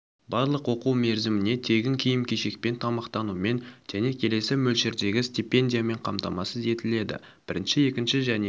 барлық оқу мерзіміне тегін киім-кешекпен тамақтанумен және келесі мөлшердегі стипендиямен қамтамасыз етіледі бірінші екінші және